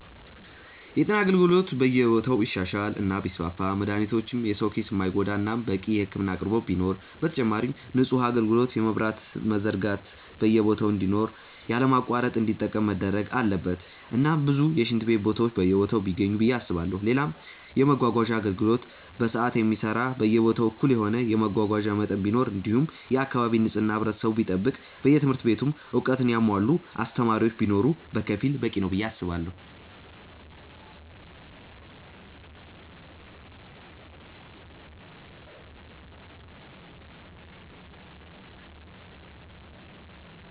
የጤና አገልግሎት በየቦታው ቢሻሻል እና ቢስፋፋ መድሃኒቶች የሰው ኪስ የማይጎዳ እናም በቂ የህክምና አቅርቦት ቢኖር፣ በተጨማሪም ንጹህ ውሃ አጋልግሎት የመብራትም መዘርጋት በየቦታ እንዲኖር ያለ መቆራረጥ እንዲጠቀም መደረግ አለበት እናም ብዙ የሽንት ቤት ቦታዎች በየቦታው ቢገኙ ብዬ አስባለው፣ ሌላም የመመጓጓዣ አገልግሎት በሰዓት የሚሰራ በየቦታው እኩል የሆነ የመጓጓዣ መጠን ቢኖር እንዲሁም የአካባቢ ንጽህና ህብረተሰቡ ቢጠብቅ በየትምህርት ቤቱም እውቀትን ያሙዋላ አስተማሪዎች ቢኖር በከፊሉ በቂ ነው ብዬ አስባለው።